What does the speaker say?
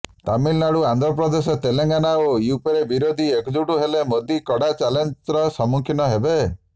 ତାମିଲନାଡୁ ଆନ୍ଧ୍ରପ୍ରଦେଶ ତେଲେଙ୍ଗାନା ଓ ୟୁପିରେ ବିରୋଧୀ ଏକଜୁଟ ହେଲେ ମୋଦି କଡା ଚ୍ୟାଲେଞ୍ଜର ସମ୍ମୁଖୀନ ହେବେ